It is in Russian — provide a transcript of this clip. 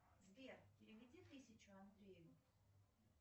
сбер переведи тысячу андрею